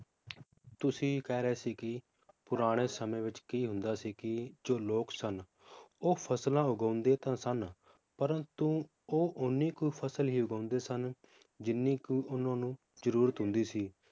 ਤੁਸੀਂ ਕਹਿ ਰਹੇ ਸੀ ਕੀ ਪੁਰਾਣੇ ਸਮੇ ਵਿਚ ਕੀ ਹੁੰਦਾ ਸੀ ਕੀ ਜੋ ਲੋਕ ਸਨ ਉਹ ਫਸਲਾਂ ਉਗਾਂਦੇ ਤਾਂ ਸਨ ਪ੍ਰੰਤੂ ਉਹ ਓਹਨੀ ਕੁ ਫਸਲ ਹੀ ਉਗਾਉਂਦੇ ਸਨ ਜਿੰਨੀ ਕੁ ਉਹਨਾਂ ਨੂੰ ਜਰੂਰਤ ਹੁੰਦੀ ਸੀ,